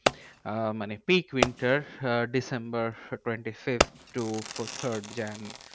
আহ মানে pick winter ah December twenty fifth to third January.